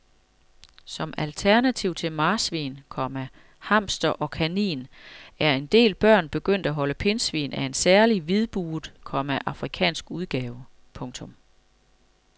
Som alternativ til marsvin, komma hamster og kanin er en del børn begyndt at holde pindsvin af en særlig hvidbuget, komma afrikansk udgave. punktum